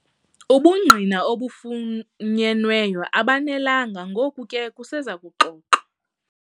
Ubungqina obufunyenweyo abanelanga ngoko ke kuseza kuxoxwa.